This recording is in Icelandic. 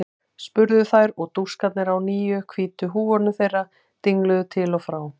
spurðu þær og dúskarnir á nýju hvítu húfunum þeirra dingluðu til og frá.